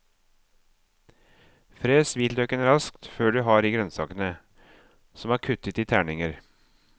Fres hvitløken raskt før du har i grønnsakene, som er kuttet i terninger.